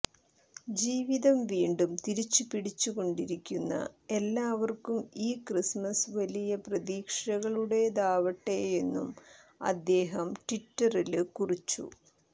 ജീവിതം വീണ്ടും തിരിച്ചു പിടിച്ചു കൊണ്ടിരിക്കുന്ന എല്ലാവര്ക്കും ഈ ക്രിസ്മസ് വലിയ പ്രതീക്ഷകളുടേതാവട്ടെയെന്നും അദ്ദേഹം ട്വിറ്ററില് കുറിച്ചു